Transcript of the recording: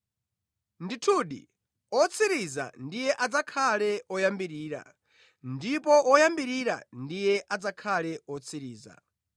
Ndithudi otsirizira ndiye adzakhale oyambirira, ndipo oyambirira ndiye adzakhale otsirizira.”